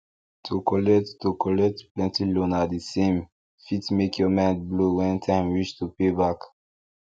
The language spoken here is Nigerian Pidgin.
to collect to collect plenty loan at the same fit make your mind blow when time reach to pay back